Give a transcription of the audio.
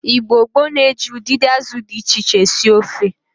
Igbo gboo na-eji udidi azụ di iche iche esi ofe.